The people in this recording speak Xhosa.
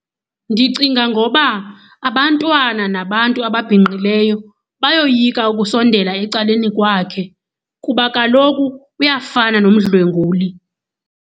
Ndicinga ngoba abantwana nabantu ababhinqileyo bayoyika ukusondela ecaleni kwakhe kuba kaloku uyafana nomdlwenguli.